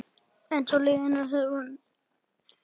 Eins og í lífinu sjálfu.